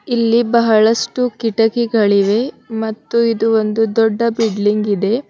ಇಲ್ಲಿ ಬಹಳಷ್ಟು ಕಿಟಕಿಗಳಿವೆ ಮತ್ತು ಇದು ಒಂದು ದೊಡ್ಡ ಬಿಡ್ಲಿಂಗ್ ಇದೆ.